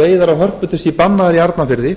veiðar á hörpudiski bannaðar í arnarfirði